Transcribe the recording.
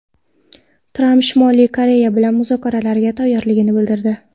Tramp Shimoliy Koreya bilan muzokaralarga tayyorligini bildirdi .